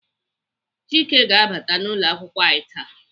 Chieke ga-abata n'ụlọakwụkwọ anyị taa.